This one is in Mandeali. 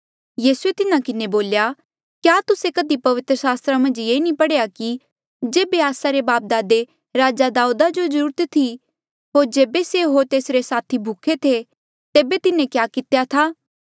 यीसूए तिन्हा किन्हें बोल्या क्या तुस्से कधी पवित्र सास्त्रा मन्झ नी पढ़ेया कि जेबे आस्सा रे बापदादे राजा दाऊदा जो ज्रूरत थी होर जेबे से होर तेसरे साथी भूखे थे तेबे तिन्हें क्या कितेया था